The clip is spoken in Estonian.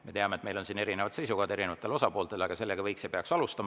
Me teame, et siin on erinevad seisukohad erinevatel osapooltel, aga sellega võiks ja peaks alustama.